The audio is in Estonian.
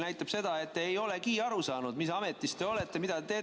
Näitab seda, et te ei olegi aru saanud, mis ametis te olete ja mida te teete.